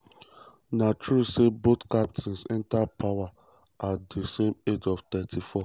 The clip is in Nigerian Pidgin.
na true say both captains enta power power at di age of 34.